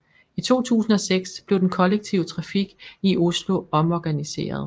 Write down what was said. I 2006 blev den kollektive trafik i Oslo omorganiseret